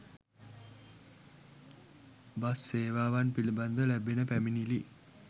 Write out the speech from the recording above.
bus සේවාවන් පිළිබඳ ලැබෙන පැමිණිලි